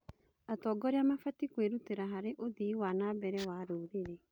Atongoria mabatiĩ kwĩrutĩra harĩ ũthii wa na mbere wa rũrĩrĩ.